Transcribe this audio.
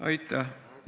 Aitäh!